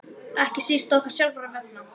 Ekki síst okkar sjálfra vegna.